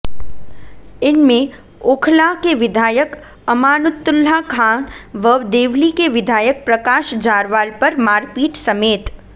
इनमें ओखला के विधायक अमानतुल्लाह खां व देवली के विधायक प्रकाश जारवाल पर मारपीट समेत